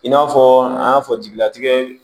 I n'a fɔ an y'a fɔ jigilatigɛ